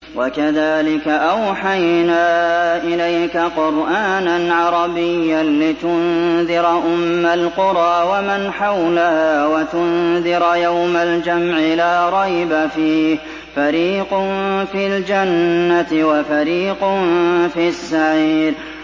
وَكَذَٰلِكَ أَوْحَيْنَا إِلَيْكَ قُرْآنًا عَرَبِيًّا لِّتُنذِرَ أُمَّ الْقُرَىٰ وَمَنْ حَوْلَهَا وَتُنذِرَ يَوْمَ الْجَمْعِ لَا رَيْبَ فِيهِ ۚ فَرِيقٌ فِي الْجَنَّةِ وَفَرِيقٌ فِي السَّعِيرِ